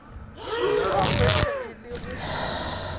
ba hwetša e le go